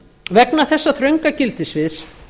vegna þessa þrönga gildissviðs